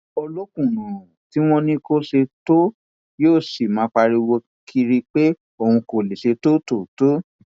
olókùnúnrun tí wọn ní kó ṣe tóo yóò sì máa pariwo kiri pé òun kò lè ṣe tóo tóó tòó